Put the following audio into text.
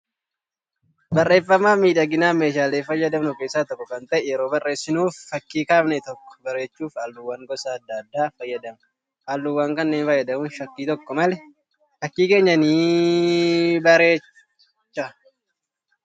Barreeffamaa fi miidhaginaaf meeshaalee fayyadamnu keessaa tokko kan ta'e yeroo barreessinuu fi fakkii kaafne tokko bareechuuf halluuwwan gosa adda addaa fayyadamna. Halluuwwan kanneen fayyadamuun shakkii tokko malee fakkii keenya ni bareecha.